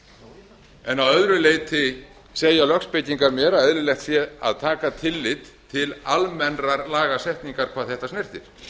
en að öðru leyti segja lögspekingar mér að eðlilegt sé að taka tillit til almennrar lagasetningar hvað þetta snertir